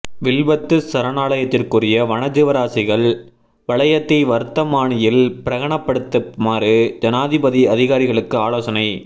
வில்பத்து சரணாலயத்துக்குரிய வனஜீவராசிகள் வலயத்தை வர்த்தமானியில் பிரகடனப்படுத்துமாறு ஜனாதிபதி அதிகாரிகளுக்கு ஆலோசனை